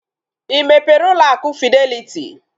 Ị mepere ụlọ akụ fideliti?